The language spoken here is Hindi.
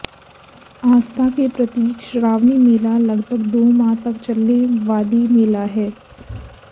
आस्था के प्रतीक श्रावणी मेला लगभग दो माह तक चलने वाली मेला है